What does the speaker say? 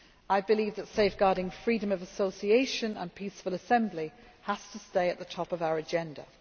I believe that safeguarding freedom of association and peaceful assembly has to stay at the top of our agenda.